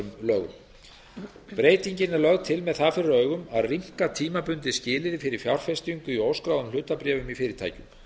lögum breytingin er lögð til með það fyrir augum að rýmka tímabundið skilyrði fyrir fjárfestingu í óskráðum hlutabréfum í fyrirtækjum